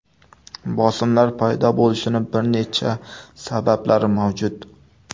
Bosimlar paydo bo‘lishining bir necha sabablari mavjud.